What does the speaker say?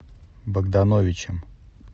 богдановичем